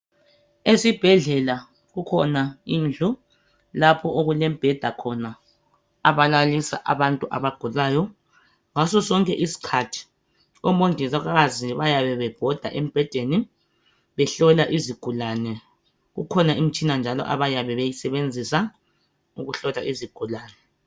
Esibhedlela kukhona indlu lapho okulemibheda khona abalalisa abantu abagulayo ngaso sonke iskhathi omongikazi bayabe bebhoda esibhedlela behlola izigulani ikhona njalo imitshina abayabe beyisebenzisa ukuhlola izigulani